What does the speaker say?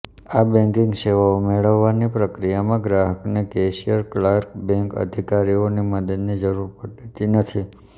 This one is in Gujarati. આ બેંકિંગ સેવાઓ મેળવવાની પ્રક્રિયામાં ગ્રાહકને કેશિયર ક્લાર્ક બેંક અધિકારીની મદદની જરૂર પડતી નથી